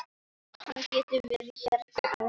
Hann getur verið hérna ennþá.